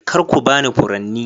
Kar ku ba ni furanni